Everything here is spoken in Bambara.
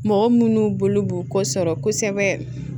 Mɔgɔ minnu bolo b'u kɔ sɔrɔ